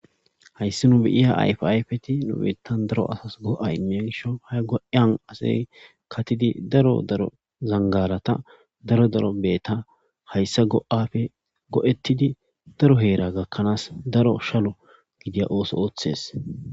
hayssi nu biyiya ayfayfeti nubeetan daro asas go7a imiya gisho ha go7yan asey katidi daro daro zangarata daro daro beeta hayssa go7afe go7ettidi daro heera gakkanaas daro shalo gidiya ooso ooththes